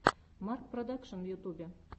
марк продакшн в ютубе